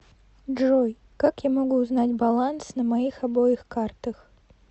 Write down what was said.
джой как я могу узнать баланс на моих обоих картах